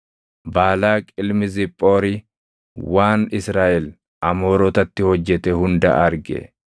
Baalaaq ilmi Ziphoori waan Israaʼel Amoorotatti hojjete hunda arge;